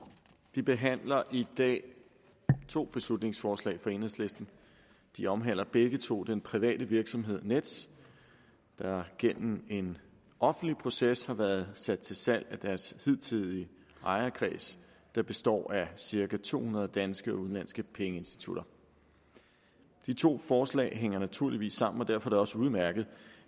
vi behandler i dag to beslutningsforslag fra enhedslisten de omhandler begge to den private virksomhed nets der gennem en offentlig proces har været sat til salg af deres hidtidige ejerkreds der består af cirka to hundrede danske og udenlandske pengeinstitutter de to forslag hænger naturligvis sammen og derfor er det også udmærket